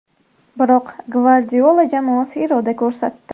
Biroq Gvardiola jamoasi iroda ko‘rsatdi.